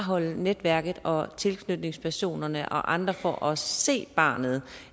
netværket og tilknytningspersonerne og andre fra at se barnet